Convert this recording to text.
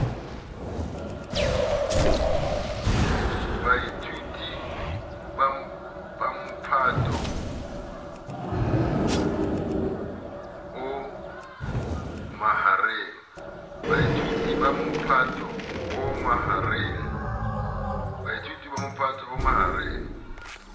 baithuti ba mophato o mahareng